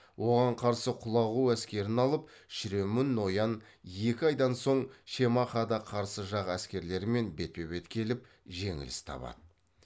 оған қарсы құлағу әскерін алып шіремүн ноян екі айдан соң шемахада қарсы жақ әскерлерімен бетпе бет келіп жеңіліс табады